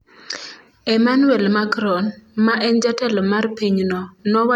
Emmanuel Macron, ma en jatelo mar pinyno, nowacho embui mar twitter ni tim ma kamano ok owinjore kata matin.